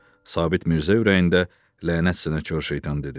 Sabit Mirzə ürəyində lənət sənə köçər şeytan dedi.